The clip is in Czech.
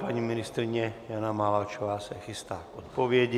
Paní ministryně Jana Maláčová se chystá k odpovědi.